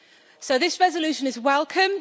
So, this resolution is welcome.